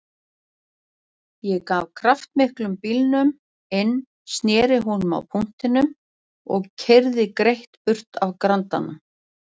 Ég gaf kraftmiklum bílnum inn, sneri honum á punktinum og keyrði greitt burt af Grandanum.